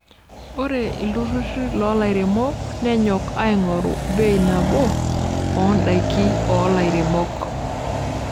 Ore ilturruri loo lairemok nenyok aing'oru bei nabo oo ndaiki oo lairemok.